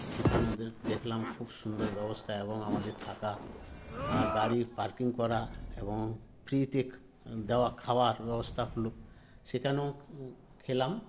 সেখানে ওদের দেখলাম খুব সুন্দর ব্যবস্থা এবং আমাদের থাকা আর গাড়ি parking করা এবং free -তে দেওয়া খাওয়ার ব্যবস্থা হলো সেখানেও উ খেলাম